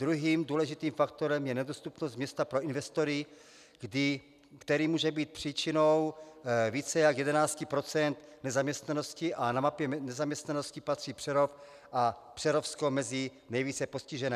Druhým důležitým faktorem je nedostupnost města pro investory, která může být příčinou více jak 11 % nezaměstnanosti, a na mapě nezaměstnanosti patří Přerov a Přerovsko mezi nejvíce postižené.